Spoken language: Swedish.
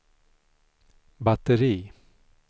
batteri